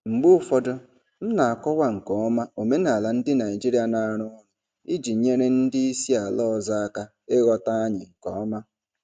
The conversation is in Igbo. Mgbe ụfọdụ, m na-akọwa nke ọma omenala ndị Naijiria na-arụ ọrụ iji nyere ndị isi ala ọzọ aka ịghọta anyị nke ọma.